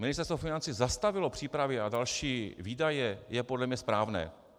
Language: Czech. Ministerstvo financí zastavilo přípravy na další výdaje, je podle mě správné.